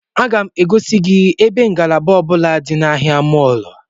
Aga m egosi gị ebe ngalaba ọ bụla dị na ahịa mọọlụ a